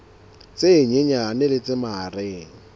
tse nyenyane le tse mahareng